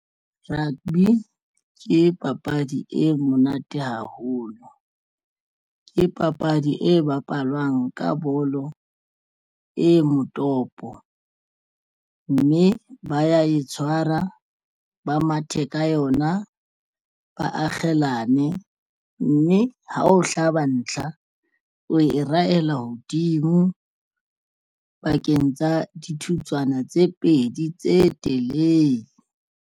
Rugby ke papadi e monate haholo ke papadi e bapalwang ka bolo e motopo mme ba ya e tshwara ba mathe ka yona ba akgelane mme ha o hlaba ntlha o e rahela hodimo pakeng tsa dithutswana tse pedi tse telele.